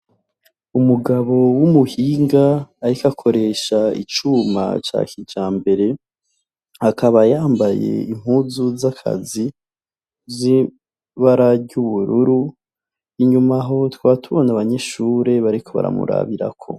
Umugabo w' umuhinga ariko akoresha icuma ca kijambere akaba yambaye impuzu z'akazi zibara ry' ubururu inyuma ho tukaba tubona abanyeshure bariko baramurabirako.